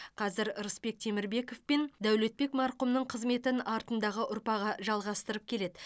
қазір рысбек темірбеков пен даулетбек марқұмның қызметін артындағы ұрпағы жалғастырып келеді